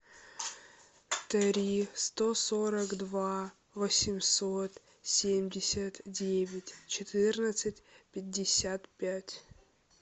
три сто сорок два восемьсот семьдесят девять четырнадцать пятьдесят пять